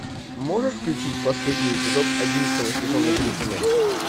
можешь включить последний эпизод одиннадцатого сезона гриффины